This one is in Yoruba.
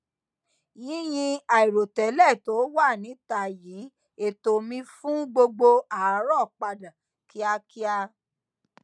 yinyin àìròtélè to wa nita yi eto mi fun gbogbo aarọ padà kíákíá